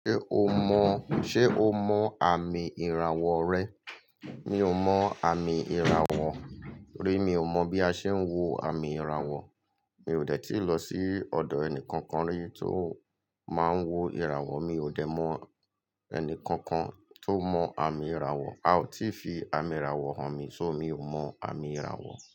Ṣé o mọ, ṣe o mọ àmì ìràwọ̀ rẹ? Mi ò mọ àmì ìràwọ̀ mí. Mi ò mọ bí a ṣe ń wo àmì ìràwọ̀. Mi ò dẹ̀ tíì lọ sí ọ̀dọ̀ ẹni kankan rí tó máa ń wo ìràwọ̀. Mi ò dẹ̀ mọ ẹni kankan tó mọ àmì ìràwọ̀. A ò tí fi àmì ìràwọ̀ hàn mi. So mi ò mọ àmì ìràwọ̀.